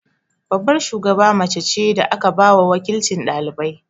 Babbar shugaba mace ce da aka ba wa waƙilcin ɗalibai.